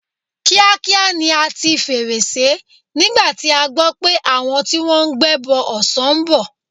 Kíákíá ni a ti fèrèsé nígbà tí a gbọ́ pé àwọn tí wọ́n ń gbẹ́bọ ọ̀sán ń bọ̀.